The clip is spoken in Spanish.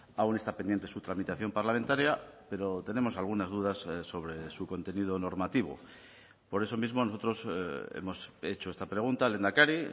aún está pendiente su tramitación parlamentaria pero tenemos algunas dudas sobre su contenido normativo por eso mismo nosotros hemos hecho esta pregunta al lehendakari